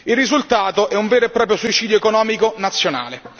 Il risultato è un vero e proprio suicidio economico nazionale.